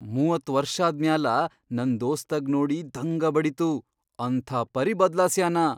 ಮೂವತ್ ವರ್ಷಾದ್ ಮ್ಯಾಲ ನನ್ ದೋಸ್ತಗ್ ನೋಡಿ ದಂಗ ಬಡಿತು ಅಂಥಾಪರಿ ಬದ್ಲಾಸ್ಯಾನ.